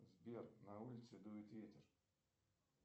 сбер на улице дует ветер